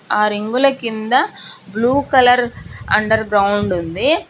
ఆ రింగుల కింద బ్లూ కలర్ అండర్ గ్రౌండ్ ఉంది.